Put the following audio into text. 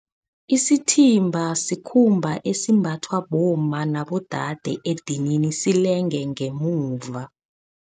Isithimba sikhumba esimbathwa bomma nabodade edinini, silenge ngemuva.